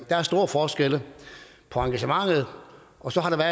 er store forskelle på engagementet og så har der